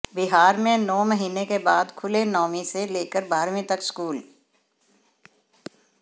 बिहार में नौ महीने के बाद खुले नौवीं से लेकर बारहवीं तक स्कूल